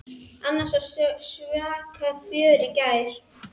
Annars var svaka fjör í gær.